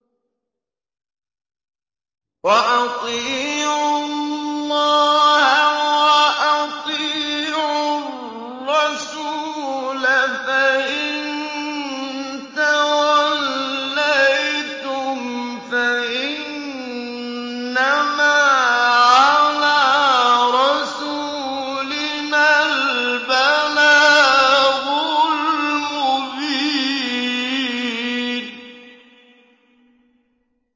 وَأَطِيعُوا اللَّهَ وَأَطِيعُوا الرَّسُولَ ۚ فَإِن تَوَلَّيْتُمْ فَإِنَّمَا عَلَىٰ رَسُولِنَا الْبَلَاغُ الْمُبِينُ